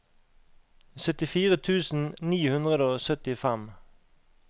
syttifire tusen ni hundre og syttifem